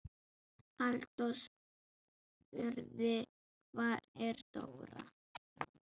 Halldór spurði: Hvar er Dóra?